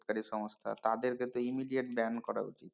কারী সংস্থা তাদের কে তো immediate ban করা উচিত।